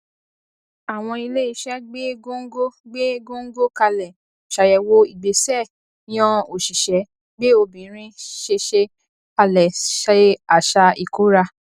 àwọn iléeṣẹ gbé góńgó gbé góńgó kalẹ ṣàyèwò ìgbésẹ yan òṣìṣẹ gbé obìnrin ṣeṣe kalẹ ṣe àṣà ikóra